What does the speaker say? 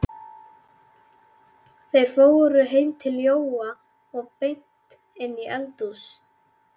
Þeir fóru heim til Jóa og beint inn í eldhús.